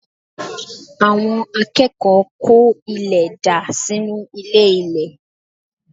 Àwọn akẹ́kọ̀ọ́ kó ilẹ̀ dà sínú ilé-ilẹ̀